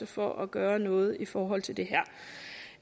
for at gøre noget i forhold til det